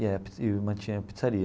E é e mantinha a pizzaria.